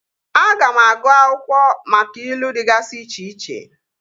Aga m agụụ akwụkwọ maka ilu dịgasị iche iche